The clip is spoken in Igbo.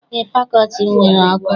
Eé, fakọlti m nwere ọkụ.